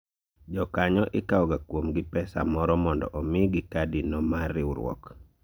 Jokanyo ikawo ga kuom gi pesa moro mondo omigi kadi no mar riwruok